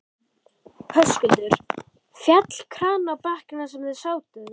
Höskuldur: Féll kraninn á bekkinn þar sem þið sátuð?